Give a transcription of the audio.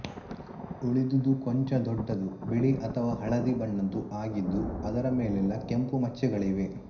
ಉಳಿದುದು ಕೊಂಚ ದೊಡ್ಡದೂ ಬಿಳಿ ಅಥವಾ ಹಳದಿ ಬಣ್ಣದ್ದೂ ಆಗಿದ್ದು ಅದರ ಮೇಲೆಲ್ಲ ಕೆಂಪು ಮಚ್ಚೆಗಳಿವೆ